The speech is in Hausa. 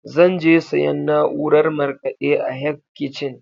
Zan je siyan naurar markaɗe a Hec kichin